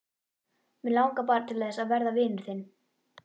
Mig langar bara til þess að verða vinur þinn.